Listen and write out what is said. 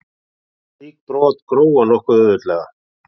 Slík brot gróa nokkuð auðveldlega.